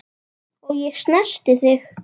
Og ég snerti þig.